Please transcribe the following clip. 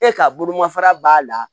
E ka bolomafara b'a la